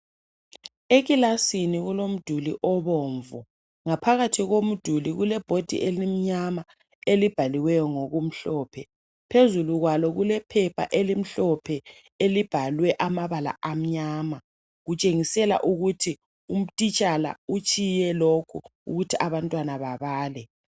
Ekilasini kulomduli obomvu . Ngaphakathi komduli kule board elimnyama elibhaliweyo ngokumhlophe. Phezulu kwayo kule phepha elimhlophe elibhalwe amabala amnyama. Kutshengisela ukuthi utitshala utshiye lokhu ukuthi abantwana babale.